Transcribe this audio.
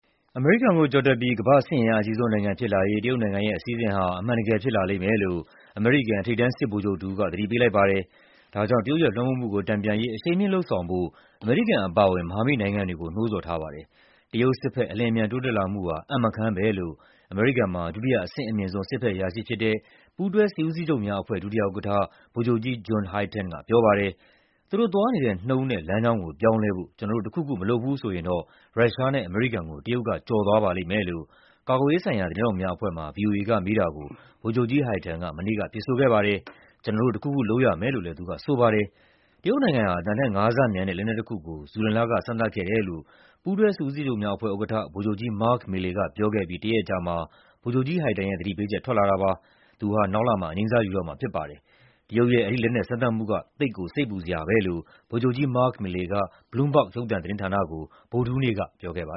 အမေရိကန်ကိုကျော်ပြီး ကမ္ဘာ့ စစ်အင်အားအကြီးဆုံးနိုင်ငံဖြစ်လာရေး တရုတ်နိုင်ငံရဲ့အစီအစဉ်ဟာ အမှန်တကယ်ဖြစ်လာလိမ့်မယ်လို့ အမေရိကန် ထိပ်တန်းစစ်ဗိုလ်ချုပ်တဦးက သတိပေးလိုက်ပါတယ်။ ဒါကြောင့် တရုတ်ရဲ့လွှမ်းမိုးမှုကို တန်ပြန်ရေး အရှိန်မြှင့်လုပ်ဆောင်ဖို့ အမေရိကန်အပါအဝင် မဟာမိတ်နိုင်ငံတွေကို နှိုးဆော်ထားပါတယ်။ တရုတ်စစ်ဘက် အလျင်အမြန် တိုးတက်လာမှုဟာ "အံ့မခန်း" ပဲလို့ အမေရိကန်မှာ ဒုတိယ အဆင့်အမြင့်ဆုံး စစ်ဘက်အရာရှိဖြစ်တဲ့ ပူးတွဲစစ်ဦးစီးချုပ်များအဖွဲ့ ဒုတိယဥက္ကဋ္ဌ ဗိုလ်ချုပ်ကြီး John Hyten ကပြောပါတယ်။ "သူတို့သွားနေတဲ့နှုန်းနဲ့ လမ်းကြောင်းကို ပြောင်းလဲဖို့ ကျနော်တို့ တခုခုမလုပ်ဘူးဆိုရင်တော့ ရုရှားနဲ့ အမေရိကန်ကို ကျော်လွန်သွားပါလိမ့်မယ်" လို့ ကာကွယ်ရေးဆိုင်ရာ သတင်းထောက်များအဖွဲ့မှာ ဗွီအိုအေကမေးတာကို ဗိုလ်ချုပ်ကြီး Hyten က မနေ့က ဖြေဆိုခဲ့ပါတယ်။ "ကျနော်တို့ တခုခုလုပ်ရမယ်" လို့လည်း သူကဆိုပါတယ်။ တရုတ်နိုင်ငံဟာ အသံထက်ငါးဆမြန်တဲ့ လက်နက်တခုကို ဇူလိုင်လက စမ်းသပ်ခဲ့တယ်လို့ ပူးတွဲစစ်ဦးစီးချုပ်များအဖွဲ့ဥက္ကဋ္ဌ ဗိုလ်ချုပ်ကြီး Mark Milley ကပြောခဲ့အပြီး တရက်အကြာမှာ ဗိုလ်ချုပ်ကြီး Hyten ရဲ့ သတိပေးချက် ထွက်လာတာပါ။ သူဟာ နောက်လမှာ အငြိမ်းစားယူတော့မှာဖြစ်ပါတယ်။ တရုတ်ရဲ့ အဲဒီ လက်နက်စမ်းသပ်မှုက "သိပ်ကို စိတ်ပူစရာပဲ" လို့ ဗိုလ်ချုပ်ကြီး Mark Milley က Bloomberg ရုပ်သံသတင်းဌာနကို ဗုဒ္ဓဟူးနေ့ကပြောခဲ့ပါ